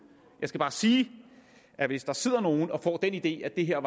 jeg skal bare sige at hvis der sidder nogen og får den idé at det her